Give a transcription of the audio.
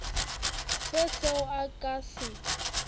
se seo a ka se